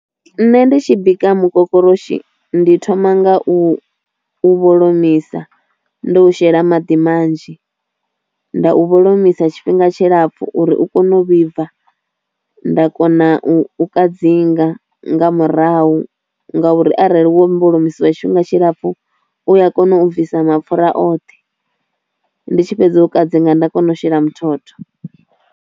Nṋe ndi tshi bika mukokoroshi ndi thoma ngau u vholomisa ndo u shela maḓi manzhi, nda u vholomisa tshifhinga tshilapfu uri u kone u vhibva, nda kona u u kadzinga nga murahu ngauri arali wo vholomisiwa tshifhinga tshilapfu u ya kona u bvisa mapfhura oṱhe ndi tshi fhedza u kadzinga nda kona u shela muthotho.